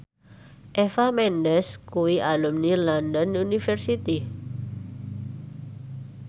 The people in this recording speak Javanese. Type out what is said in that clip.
Eva Mendes kuwi alumni London University